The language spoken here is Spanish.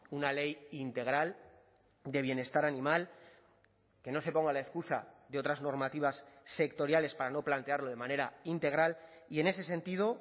una ley integral de bienestar animal que no se ponga la excusa de otras normativas sectoriales para no plantearlo de manera integral y en ese sentido